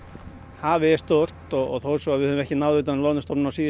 hafið er stórt og þó svo að við höfum ekki náð utan um loðnustofninn á síðustu